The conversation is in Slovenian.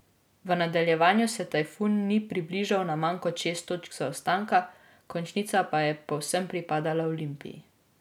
V nadaljevanju se Tajfun ni približal na manj kot šest točk zaostanka, končnica pa je povsem pripadla Olimpiji.